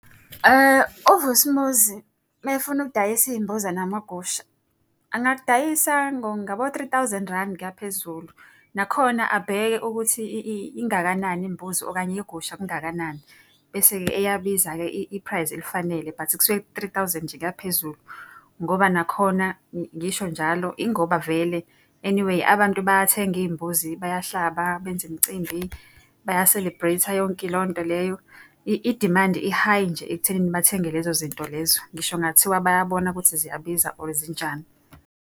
UVusimuzi uma efuna ukudayisa iy'mbuzi namagusha, engakudayisa ngabo-three thousand randi kuya phezulu. Nakhona abheke ukuthi ingakanani imbuzi okanye igusha kungakanani. Bese-ke eyabiza-ke i-price eyifanele but kusuke ku-three thousand nje kuya phezulu. Ngoba nakhona ngisho njalo ingoba vele anyway abantu bayathenga iy'mbuzi bayahlaba benze imicimbi, baya-celebrate-a yonke leyo nto leyo. Idimandi i-high nje ekuthenini bathenge lezo zinto lezo. Ngisho kungathiwa bayabona ukuthi ziyabiza or zinjani.